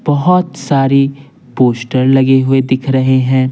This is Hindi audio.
बहुत सारी पोस्टर लगे हुए दिख रहे हैं।